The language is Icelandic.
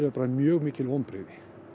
bara mjög mikil vonbrigði